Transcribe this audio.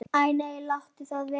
Æ nei, láttu það vera.